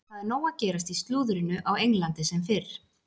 Það er nóg að gerast í slúðrinu á Englandi sem fyrr.